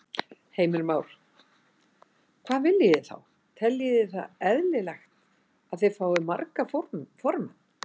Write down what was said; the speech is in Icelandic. Heimir Már: Hvað viljið þið þá, teljið þið eðlilegt að þið fáið marga formenn?